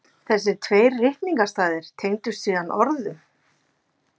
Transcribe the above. Þessir tveir ritningarstaðir tengdust síðan orðum